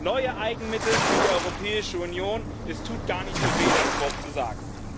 Neue Eigenmittel für die Europäische Union es tut gar nicht so weh, das Wort zu sagen.